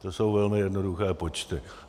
To jsou velmi jednoduché počty.